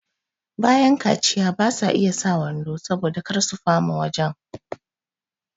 bayan kaciya basa iya sa wando saboda kar su fama wajan